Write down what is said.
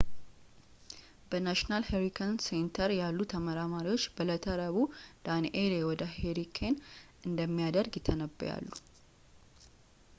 በnational hurricane center ያሉት ተመራማሪዎች በእለተ ረቡዕ danielle ወደ hurricane እንደሚያድግ ይተነብያሉ